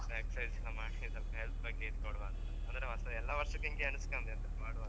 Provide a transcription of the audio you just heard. Exercise ಎಲ್ಲ ಮಾಡಿ ಸ್ವಲ್ಪ health ಬಗ್ಗೆ ಇದ್ ಕೊಡವ ಅಂತ ಅಂದ್ರೆ ಹೊಸ ಎಲ್ಲ ವರ್ಷಕ್ಕೆ ಹಿಂಗೇ ಎಣಿಸ್ಕೊಳ್ತಿತ್ತ್ ಮಾಡುವ ಅಂತ.